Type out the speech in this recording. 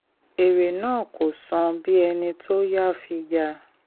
èrè náà kò san bí ẹni tó yá fi yà.